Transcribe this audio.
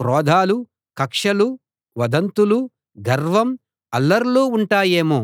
క్రోధాలు కక్షలు వదంతులు గర్వం అల్లర్లు ఉంటాయేమో